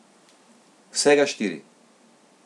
Vsega štiri.